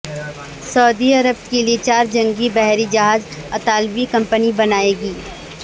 سعودی عرب کے لیے چار جنگی بحری جہاز اطالوی کمپنی بنائے گی